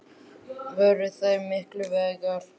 Voru þær mikilvægar?